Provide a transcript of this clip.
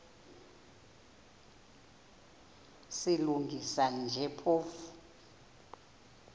silungisa nje phofu